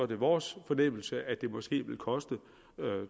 det vores fornemmelse at det måske vil koste